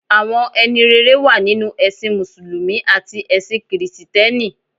Àwọn ẹni rere wà nínú ẹ̀sìn mùsùlùmí àti ẹ̀sin kìrìsìtẹ́nì.